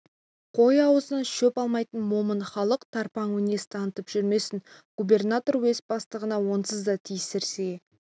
қой аузынан шөп алмайтын момын халық тарпаң мінез танытып жүрмесін губернатор уезд бастығына онсыз да тиісерге